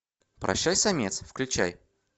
прощай самец включай